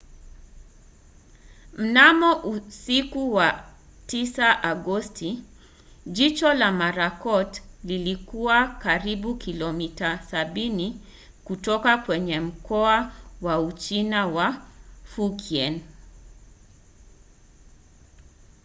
mnamo usiku wa agosti 9 jicho la marakot lilikuwa karibu kilomita sabini kutoka kwenye mkoa wa uchina wa fujian